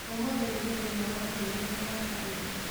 ũmũthĩ ni mũthenya wa mwerĩ na mwaka ũrĩkũ